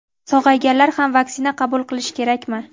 sog‘ayganlar ham vaksina qabul qilishi kerakmi?.